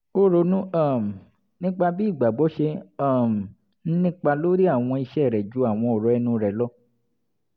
ó ronú um nípa bí ìgbàgbọ́ ṣe um ń nípa lórí àwọn ìṣe rẹ̀ ju àwọn ọ̀rọ̀ ẹnu rẹ̀ lọ